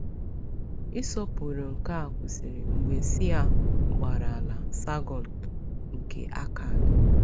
Ịsọpụrụ nke a kwụsịrị mgbe Sịa gbara ala Sàrgọn nke Akkad.